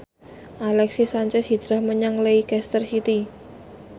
Alexis Sanchez hijrah menyang Leicester City